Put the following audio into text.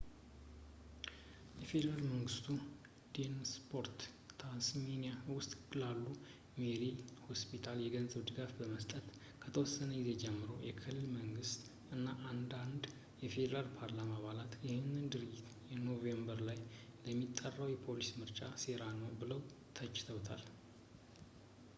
ፌዴራል መንግስቱ ዴቨንፖርት ታስሜኒያ ውስጥ ላለው ሜርሴይ ሆስፒታል የገንዘብ ድጋፍን ለመስጠት ከወሰነ ጊዜ ጀምሮ የክልል መንግስት እና አንዳንድ ፌዴራል የፓርላማ አባላት ይህንን ድርጊት ኖቬምበር ላይ ለሚጠራው የፌዴራል ምርጫ ሴራ ነው ብለው ተችተውታል